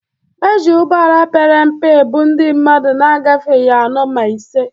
E ji ụgbọala pere mpe ebu ndị mmadụ na-agafeghị anọ ma ise.